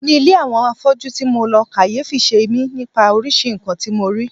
Ní ilé àwọn afọ́jú ti mo lọ, kàyéfì semi nípa oríṣiríṣi nǹkan tí mo rí.